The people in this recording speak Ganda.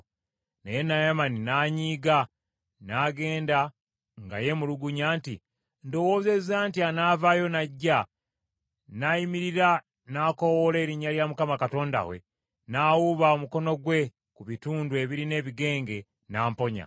Naye Naamani n’anyiiga, n’agenda nga yeemulugunya nti, “Ndowoozezza nti anaavaayo n’ajja, n’ayimirira n’akoowoola erinnya lya Mukama Katonda we, n’awuba omukono gwe ku bitundu ebirina ebigenge, n’amponya.